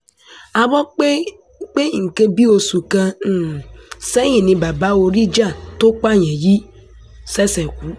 a gbọ́ pé ní nǹkan bíi oṣù kan um sẹ́yìn ni bàbá oríjà tó pààyàn yìí um ṣẹ̀ṣẹ̀ kú